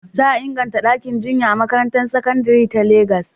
Za a inganta ɗakin jinya a makarantar sakandare ta Legas.